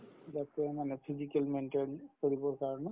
যাতে মানে physically maintain কৰিবৰ কাৰণে